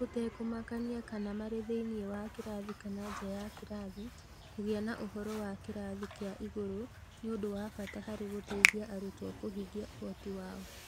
Gũtekũmakania kana marĩ thĩinĩ wa kĩrathi kana nja ya kĩrathi, kũgĩa na ũhoro wa kĩrathi kĩa igũrũ nĩ ũndũ wa bata harĩ gũteithia arutwo kũhingia ũhoti wao.